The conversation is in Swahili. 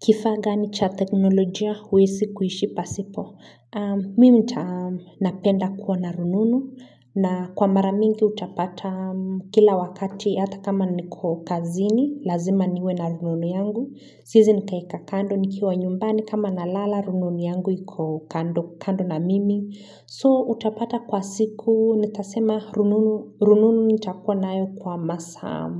Kifaa gani cha teknolojia huwesi kuishi pasipo. Mi uta napenda kuwa na rununu na kwa mara mingi utapata kila wakati hata kama niko kazini lazima niwe na rununu yangu. Siezi nikaeka kando nikiwa nyumbani kama nalala rununu yangu iko kando na mimi. So utapata kwa siku nitasema rununu nitakuwa nayo kwa masaa.